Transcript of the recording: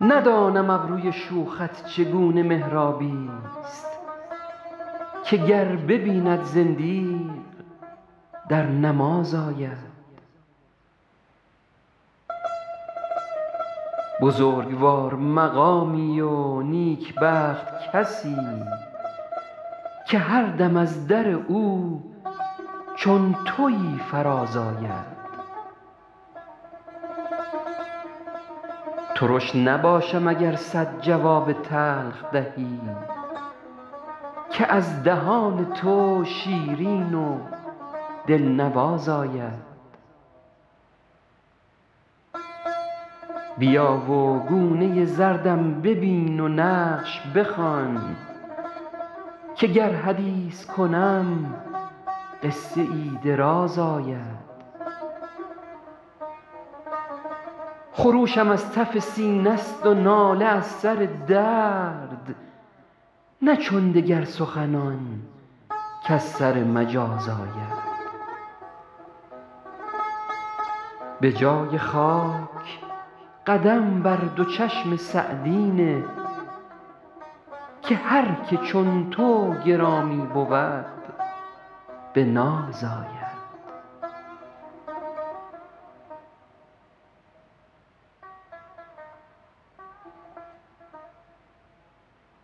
ندانم ابروی شوخت چگونه محرابی ست که گر ببیند زندیق در نماز آید بزرگوار مقامی و نیکبخت کسی که هر دم از در او چون تویی فراز آید ترش نباشم اگر صد جواب تلخ دهی که از دهان تو شیرین و دلنواز آید بیا و گونه زردم ببین و نقش بخوان که گر حدیث کنم قصه ای دراز آید خروشم از تف سینه ست و ناله از سر درد نه چون دگر سخنان کز سر مجاز آید به جای خاک قدم بر دو چشم سعدی نه که هر که چون تو گرامی بود به ناز آید